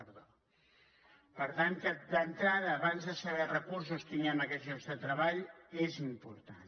per tant d’entrada abans de saber recursos que tinguem aquests llocs de treball és important